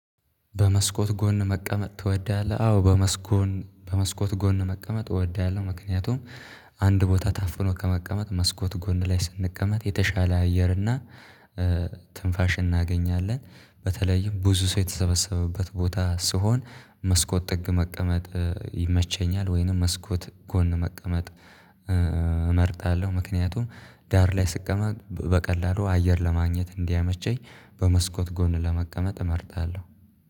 በመስኮት ጎን መቀመጥ ትወዳለህ? አዎ። በመስኮት በመስኮት ጎን መቀመጥ እወዳለሁ ምክንያቱም አንድ ቦታ ታፍኖ ከመቀመጥ መስኮት ጎን ላይ ስንቀመጥ የተሻለ አየር እና ትንፋሽ እናገኛለን። በተለይም ብዙ ሰው የተሰበሰበበት ቦታ ስሆን መስኮት ጥግ መቀመጥ ይመቸኛል ወይንም መስኮት ጎን መቀመጥ እመርጣለሁ። ምክንያቱም ዳር ላይ ስቀመጥ በቀላሉ አየር ለማግኘት እንዲያመቸኝ በመስኮት ጎን ለመቀመጥ እመርጣለሁ።